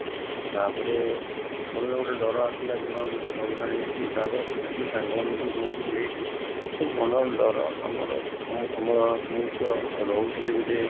ତା ପରେ ମନରେ ଗୋଟେ ଡର ଆସିଲା କି ହଁ ମତେ corona ହେଇଛି ତାପରେ ଦେଖିଲି ସାଙ୍ଗ ମାନଙ୍କୁବି ସମସ୍ତଙ୍କୁ ହେଇଛି ତ ମନରେ ଡର ଆମର ମୁଁ ତ ରହୁଥିଲି ଗୋଟେ